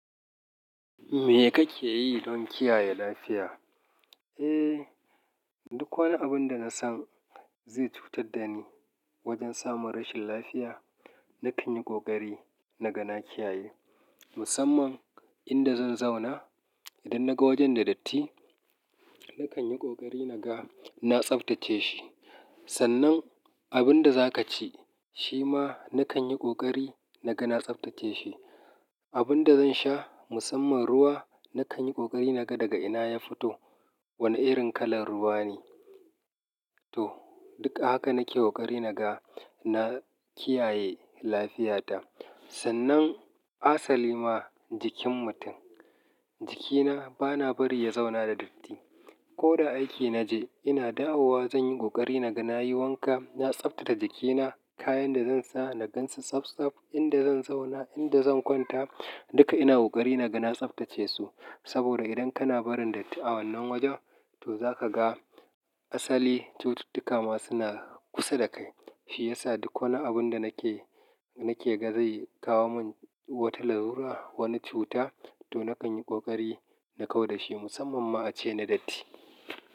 Me kake yi don kiyaye lafiya? Eh, duk wani abun da na san zai cutar da ni wajen samun rashin lafiya, na kan yi ƙoƙari na ga na kiyaye. Musamman inda zan zauna, idan naga wajen da datti, na kan yi ƙoƙari na ga na tsaftace shi. Sannan abin da za ka ci, shi ma na kan yi ƙoƙari na ga na tsaftace shi. Abin da zan sha, musamman ruwa, na kan yi ƙoƙari na ga daga ina ya fito, wane irin kalar ruwa ne. To, duk ahaka nake ƙoƙari na ga na kiyaye lafiyata. Sannan asali ma jikin mutum, jikina bana bari ya zauna da datti. Ko da aiki na je, ina dawowa zan yi ƙoƙari na ga na yi wanka, na tsaftace jikina. Kayan da zan sa, na gansa tsabtsaf. Inda zan zauna, inda zan kwanta, duka ina ƙoƙari na ga na tsaftace su. Saboda idan kana barin datti a wannan wajen, to za ka ga asali cututtuka ma suna kusa da kai. Shi yasa duk wani abun da nake, nake ga zai kawo min wata larura, wani cuta, to na kan yi ƙoƙari na kau da shi musamman ma a ce na datti.